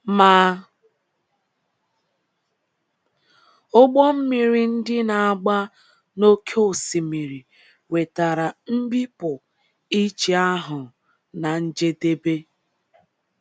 Ma ụgbọ mmiri ndị na - agba n’oké osimiri wetara mbipụ iche ahụ ná njedebe.